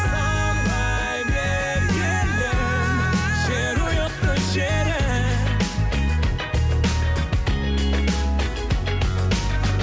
самғай бер елім жерұйықты жерім